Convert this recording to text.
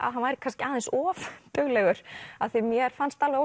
að hann væri kannski aðeins of duglegur af því að mér fannst alveg